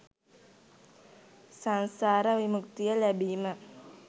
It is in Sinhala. සංසාර විමුක්තිය ලැබීම